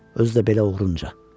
Özü də belə oğrunca.